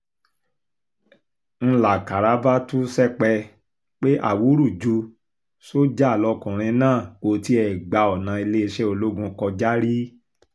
ń lákàrà bá tú sẹpẹ́ pé awúrúju sójà lọkùnrin náà kò tiẹ̀ gba ọ̀nà iléeṣẹ́ ológun kọjá rí